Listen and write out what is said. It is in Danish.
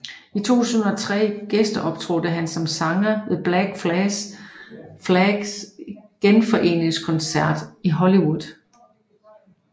I 2003 gæsteoptrådte han som sanger ved Black Flags genforeningskoncert i Hollywood